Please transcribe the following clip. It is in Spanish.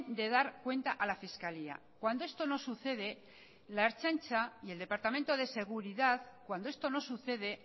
de dar cuenta a la fiscalía cuando esto no sucede la ertzaintza y el departamento de seguridad cuando esto no sucede